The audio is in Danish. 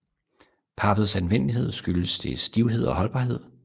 Pappets anvendelighed skyldes dets stivhed og holdbarhed